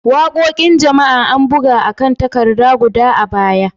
Waƙoƙin jama'a, an buga a kan takarda guda a baya.